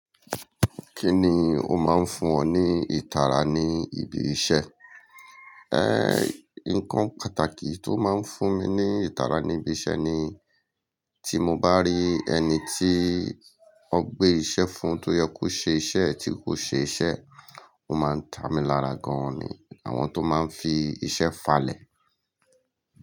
Kí ni ó máa ń fún ọ ní ìtara ní ibi iṣẹ́? Nǹkan pàtàkì tó máa ń fún mi ní ìtara ní ibi iṣẹ́ ni tí mo bá rí ẹni tí wọ́n gbé iṣẹ́ fún tó yẹ kó ṣe iṣẹ́ tí kò ṣe iṣẹ́, ó máa ń tá mi lára gan-an ni àwọn tó máa ń fi iṣẹ́ falẹ̀.